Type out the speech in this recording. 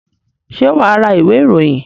Ṣé wà á ra ìwé-ìròyìn?